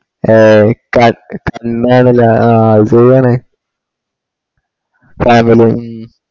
ഏയ് ക ക് ഇന്നാണല്ലേ ആഹ് പോവാന് family ഉം